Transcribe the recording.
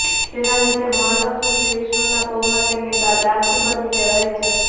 તેના લીધે મહાલક્ષ્મી શ્રી વિષ્ણુના પગમાં તેમની દાસી બનીને રહે છે